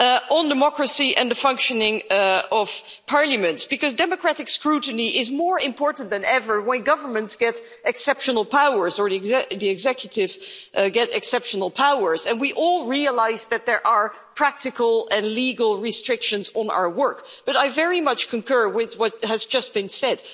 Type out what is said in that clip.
On democracy and the functioning of Parliament because democratic scrutiny is more important than ever when governments get exceptional powers or the executives get exceptional powers and we all realise that there are practical and legal restrictions on our work I very much concur with what has just been said.